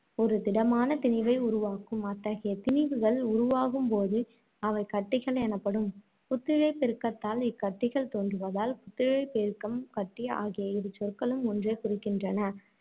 ஒரு திடமான திணிவை உருவாக்கும். அத்தகைய திணிவுகள் உருவாகும்போது அவை கட்டிகள் எனப்படும். புத்திழையப் பெருக்கத்தால் இக்கட்டிகள் தோன்றுவதால், புத்திழையப் பெருக்கம், கட்டி ஆகிய இரு சொற்களும் ஒன்றையே குறிக்கின்றன.